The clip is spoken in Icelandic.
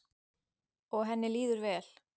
Og henni líður vel.